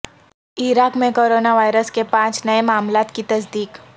عراق میں corona virus کے پانچ نئے معاملات کی تصدیق